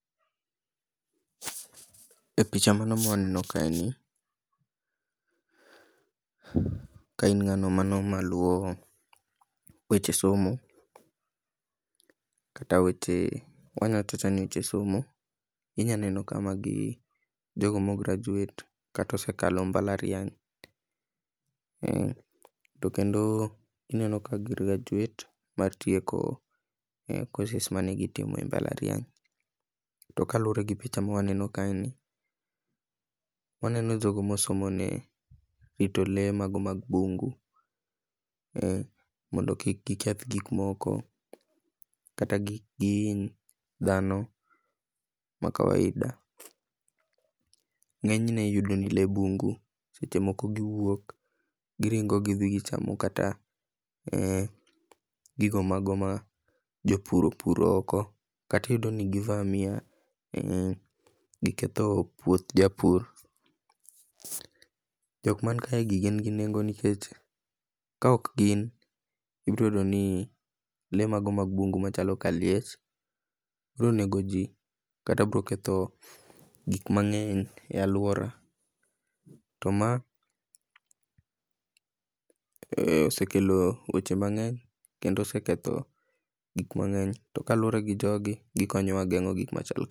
E picha mano mwaneno kae ni, ka in ng'ano mano maluwo weche somo, kata weche, wawachawacha ni weche somo inyaneno ka magi jogo mograduate, kata osekalo mbalariany, to kendo ineno ka gigraduate mar tieko courses manegitimo e mbalariany, to ka luore gi picha ma waneno kae ni, waneno jogo mosomo ne rito lee mago mag bungu mondo kik giketh gikmoko, kata kik gihiny dhano makawaida, ng'enyne iyudo ni lee bungu sechemoko giwuok giringo gidhii gichamo kata gigo mago ma jopur opuro oko, kata iyudoni givamia giketho puoth japur,. Jokmankaegi gingi nengo nikech ka okgin ibroyudoni lee mago mag bungu kaka liech bronego jii, kata broketho gikmang'eny e aluora to maa osekelo weche mang'eny kendo oseketho gikmang'eny, to kaluore gi jogi, gikonyowa geng'o gikmachalo ka.